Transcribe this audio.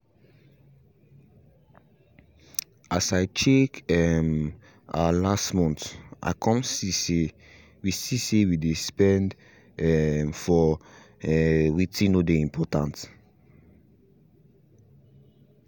as i check um our last month i come see say we see say we spend um for um wetin no dey important